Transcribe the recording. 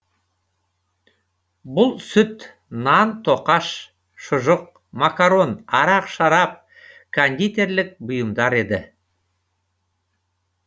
бұл сүт нан тоқаш шұжық макарон арақ шарап кондитерлік бұйымдар еді